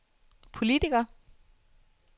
politiker